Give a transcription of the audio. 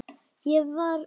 Ég var níu ára.